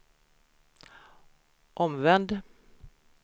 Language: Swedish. omvänd